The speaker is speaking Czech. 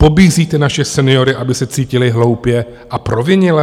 Pobízíte naše seniory, aby se cítili hloupě a provinile?